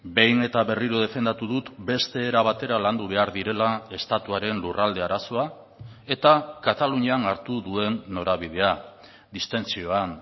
behin eta berriro defendatu dut beste era batera landu behar direla estatuaren lurralde arazoa eta katalunian hartu duen norabidea distentsioan